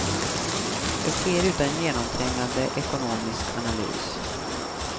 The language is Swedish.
Det sker utan genomträngande ekonomisk analys.